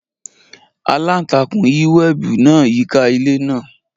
Alantakun yi webi naa yika ile naa.